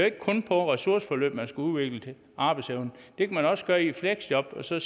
ikke kun på ressourceforløb man skulle udvikle arbejdsevnen det kan man også gøre i et fleksjob og så